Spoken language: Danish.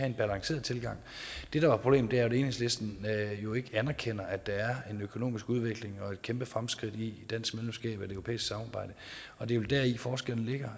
en balanceret tilgang det der er problemet er at enhedslisten jo ikke anerkender at der er en økonomisk udvikling og et kæmpe fremskridt i dansk medlemskab af det europæiske samarbejde og det er vel deri forskellen ligger